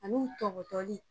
Ani u tɔgɔtɔli.